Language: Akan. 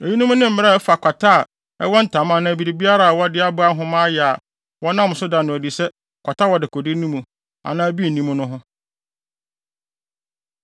Eyinom ne mmara a ɛfa kwata a ɛwɔ ntama anaa biribiara a wɔde aboa nhoma ayɛ a wɔnam so da no adi sɛ kwata wɔ dekode no mu anaa bi nni mu no ho.